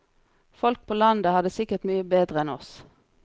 Folk på landet har det sikkert mye bedre enn oss.